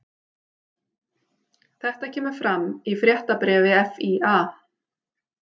Þetta kemur fram í fréttabréfi FÍA